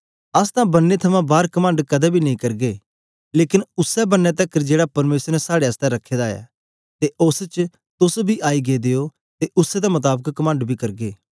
अस तां बन्ने थमां बार कमंड कदें बी नेई करगे लेकन उसै बन्ने तकर जेड़ा परमेसर ने साड़े आसतै रखे दा ऐ ते ओस च तोस बी आई गेदे ओ ते उसै दे मताबक कमंड बी करगे